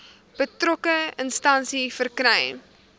betrokke instansie verkry